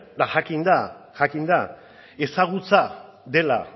eta jakinda ezagutza dela